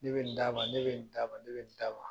Ne bɛ nin d'a ma , ne bɛ nin d'a ma, ne bɛ nin d'a ma.